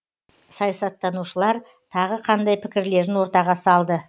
саясаттанушылар тағы қандай пікірлерін ортаға салды